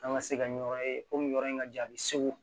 An ka se ka ɲɛyɔrɔ ye ko nin yɔrɔ in ka jan a bɛ segu